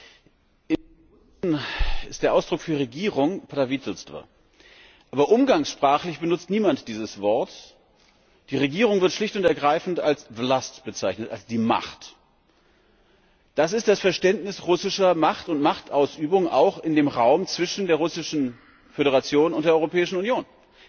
Im Russischen ist der Ausdruck für Regierung prawitelstwo. Aber umgangssprachlich benutzt niemand dieses Wort, die Regierung wird schlicht und ergreifend als wlast bezeichnet, als die Macht. Das ist das Verständnis russischer Macht und Machtausübung auch in dem Raum zwischen der Russischen Föderation und der Europäischen Union.